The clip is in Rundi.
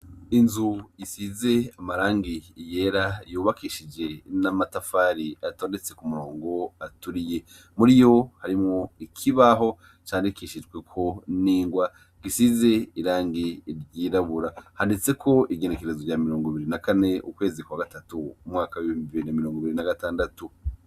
Inzu isize amarangi yera, yubakishije n'amatafari atondetse ku murongo aturiye. Muri yo harimwo ikibaho candikishijweko n'ingwa zisize irangi ryirabura. Handitseko igenekerezo rya mirongo biri na kane, ukwezi kwa gatatu, umwaka w'ibihumbi bibiri na mirongo ibiri na gatandatu.